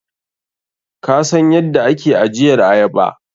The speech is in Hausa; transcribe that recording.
Kasan yadda ake ajiyar ayaba?